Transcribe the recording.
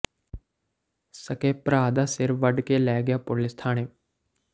ਸਕੇ ਭਰਾ ਦਾ ਸਿਰ ਵੱਢ ਕੇ ਲੈ ਗਿਆ ਪੁਲਿਸ ਥਾਣੇ